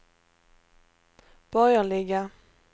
borgerliga